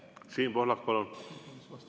Siim Pohlak, palun!